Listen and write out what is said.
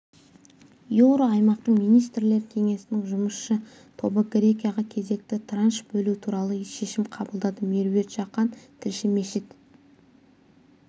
еуроаймақтың министрлер кеңесінің жұмысшы тобы грекияға кезекті транш бөлу туралы шешім қабылдады меруерт жақан тілші мешіт